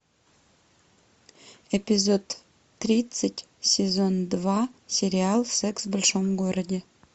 эпизод тридцать сезон два сериал секс в большом городе